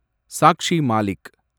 Sakshi Malik